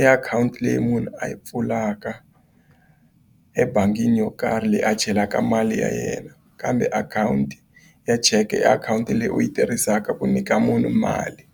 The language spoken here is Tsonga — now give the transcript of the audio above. i akhawunti leyi munhu a yi pfulaka ebangini yo karhi leyi a chelaka mali ya yena kambe akhawunti ya cheke i akhawunti leyi u yi tirhisaka ku nyika munhu mali.